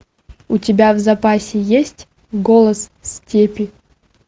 у тебя в запасе есть голос степи